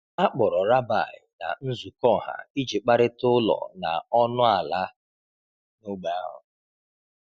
A kpọrọ rabbi na nzukọ ọha iji kparịta ụlọ dị ọnụ ala n’ógbè ahụ.